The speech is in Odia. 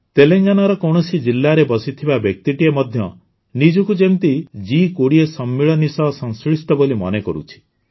ତେଲେଙ୍ଗାନାର କୌଣସି ଜିଲ୍ଲାରେ ବସିଥିବା ବ୍ୟକ୍ତିଟିଏ ମଧ୍ୟ ନିଜକୁ ଯେମିତି ଜି୨୦ ସମ୍ମିଳନୀ ସହ ସଂଶ୍ଳିଷ୍ଟ ବୋଲି ମନେକରୁଛି